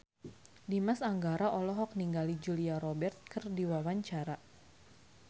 Dimas Anggara olohok ningali Julia Robert keur diwawancara